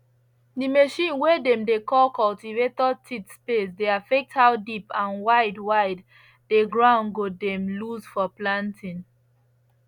the machine way dem dey call cultivator teeth space dey affect how deep and wide wide the ground go dem loose for planting